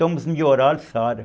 Tomo os melhoral, sara.